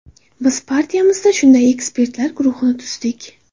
Biz partiyamizda shunday ekspertlar guruhini tuzdik.